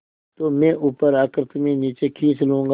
तो मैं ऊपर आकर तुम्हें नीचे खींच लूँगा